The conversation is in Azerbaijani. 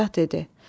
Padşah dedi: